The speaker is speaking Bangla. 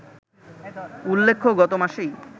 উল্লেখ্য, গত মাসেই